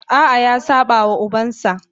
A'a, ya saba wa ubansa.